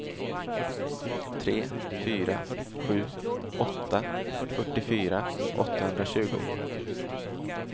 tre fyra sju åtta fyrtiofyra åttahundratjugo